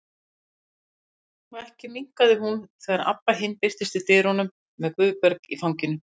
Og ekki minnkaði hún þegar Abba hin birtist í dyrunum með Guðberg í fanginu.